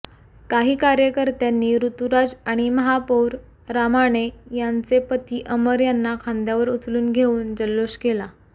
काही कार्यकर्त्यांनी ऋतुराज आणि महापौर रामाणे यांचे पती अमर यांना खांद्यावर उचलून घेऊन जल्लोष केला